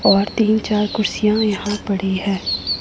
और तीन चार कुर्सियां यहां पड़ी है।